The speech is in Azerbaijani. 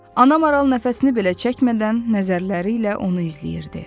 Ana maral nəfəsini belə çəkmədən nəzərləri ilə onu izləyirdi.